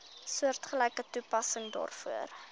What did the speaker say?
soortgelyke toepassing daarvoor